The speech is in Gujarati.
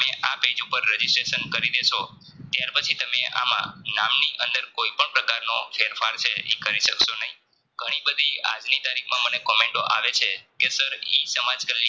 આ પેજ ઉપર Registration કરી દેશો ત્યાર પછી તમે આમા નામની અંદર કોઈપણ પ્રકારનો ફેરફાર છે ઈ કરી સક્સો નહિ ઘણી બધી આજની તારીખમાં મને comment ટો આવે છે કે sirE સમાજ